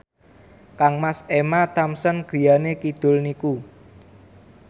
kangmas Emma Thompson griyane kidul niku